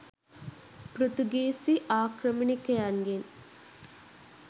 පෘතුගීසි ආක්‍රමණිකයන්ගෙන්